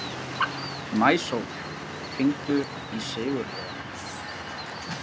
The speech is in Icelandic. Maísól, hringdu í Sigurliða.